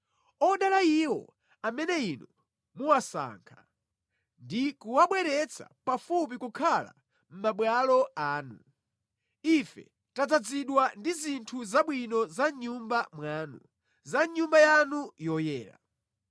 Odala iwo amene inu muwasankha ndi kuwabweretsa pafupi kukhala mʼmabwalo anu! Ife tadzazidwa ndi zinthu zabwino za mʼNyumba mwanu, za mʼNyumba yanu yoyera.